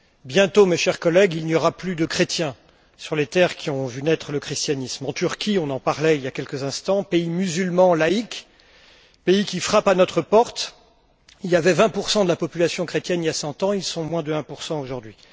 Bientôt, chers collègues, il n'y aura plus de chrétiens sur les terres qui ont vu naître le christianisme. En Turquie on en parlait il y a quelques instants pays musulman laïc, pays qui frappe à notre porte, 20 de la population était chrétienne il y a cent ans, ils sont moins de 1 aujourd'hui.